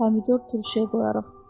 Pomidor turşuya qoyarıq.